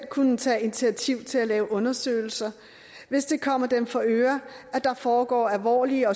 kunne tage initiativ til at lave undersøgelser hvis det kommer dem for øre at der foregå alvorlige